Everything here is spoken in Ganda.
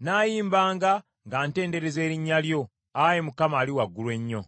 Nnaayimbanga nga ntendereza erinnya lyo, Ayi Mukama Ali Waggulu Ennyo.